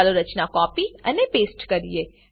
ચાલો રચના કોપી અને પેસ્ટ કરીએ